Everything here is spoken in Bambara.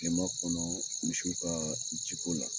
Kilema kɔnɔ misiw ka jiko la.